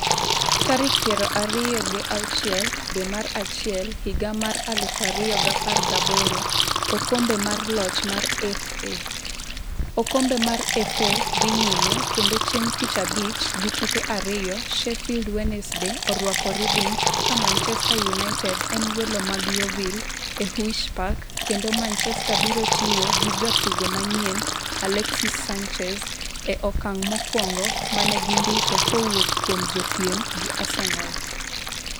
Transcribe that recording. tarik piero ariyo gi auchiel dwe mar achiel higa mar aluf ariyo gi apar gaboro. okombe mar loch mar FA .okombe mar FA dhi nyime kendo chieng' tich abich gi tuke ariyo, Shifeld Wednesday orwako Reading ka Manchester United en welo mag Yovil e Huish Park kendo Manchester biro tiyo gi jatugo manyien Alexis Sanchez e okang' mokwongo mane gindiko kowuok kuom jopiem gi Arsenal.